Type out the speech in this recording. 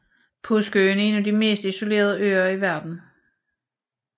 Påskeøen er en af de mest isolerede øer i verden